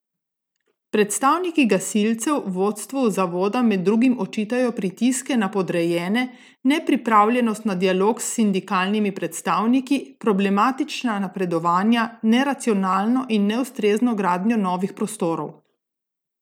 Predstavniki gasilcev vodstvu zavoda med drugim očitajo pritiske na podrejene, nepripravljenost na dialog s sindikalnimi predstavniki, problematična napredovanja, neracionalno in neustrezno gradnjo novih prostorov.